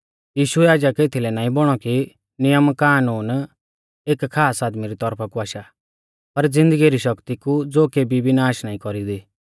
यीशु याजक एथलै नाईं बौणौ कि नियमकानून एक खास आदमी री तौरफा कु आशा पर ज़िन्दगी री शक्ति कु ज़ो केबी भी नाष नाईं कौरींदी